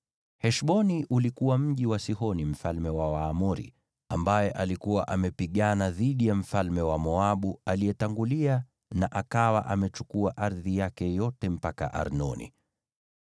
Heshboni ulikuwa mji wa Sihoni mfalme wa Waamori, ambaye alikuwa amepigana dhidi ya mfalme wa Moabu aliyetangulia na akawa amechukua ardhi yake yote mpaka Arnoni.